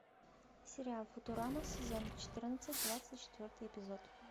сериал футурама сезон четырнадцать двадцать четвертый эпизод